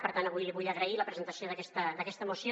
per tant avui vull agrair la presentació d’aquesta moció